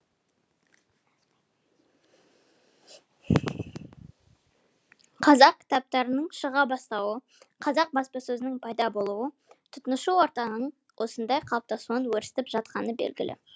қазақ кітаптарының шыға бастауы қазақ баспасөзінің пайда болуы тұтынушы ортаның осындай қалыптасуынан өрістеп жатқаны белгілі